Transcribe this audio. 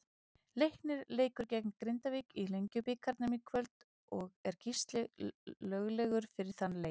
Leiknir leikur gegn Grindavík í Lengjubikarnum í kvöld og er Gísli löglegur fyrir þann leik.